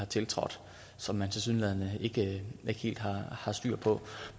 tiltrådt som man tilsyneladende ikke helt har har styr på